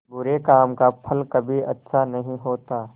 बुरे काम का फल कभी अच्छा नहीं होता